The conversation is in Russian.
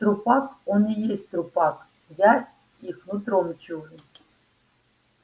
трупак он и есть трупак я их нутром чую